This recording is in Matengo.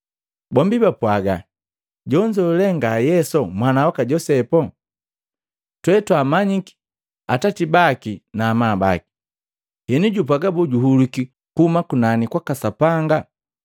Bombi bapwaga, “Jonzo lee nga Yesu mwana waka Josepu? Twetwaamanyiki atati baki na amabaki? Henu jupwaga boo juhulwiki kuhuma kunani kwaka Sapanga?”